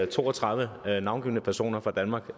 to og tredive navngivne personer fra danmark